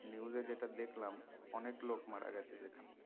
News এ যেটা দেখলাম অনেক লোক মারা গেছে যেখানে